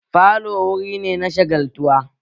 Falo wurin ne na shagaltuwa